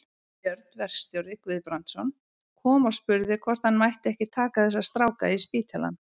Björn verkstjóri Guðbrandsson kom og spurði hvort hann mætti ekki taka þessa stráka í spítalann.